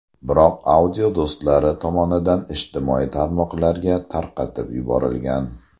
Biroq audio do‘stlari tomonidan ijtimoiy tarmoqlarga tarqatib yuborilgan.